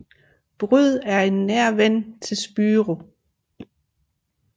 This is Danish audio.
Byrd er en nær ven til Spyro